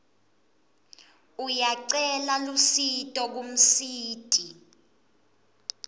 uyacela lusito kumsiti